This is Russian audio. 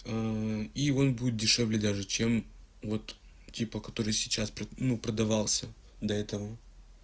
и вам будет дешевле даже чем вот типа который сейчас ну продавался до этого